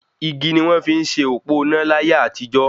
Igi ni wọ́n fi n se òpó iná láyé àtijó